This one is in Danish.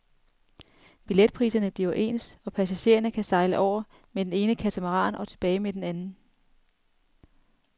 Billetpriserne bliver ens, og passagererne kan sejle over med den ene katamaran og tilbage med den anden.